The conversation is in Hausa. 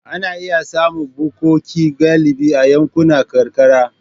Ana iya samun bukkoki galibi a yankunan karkara.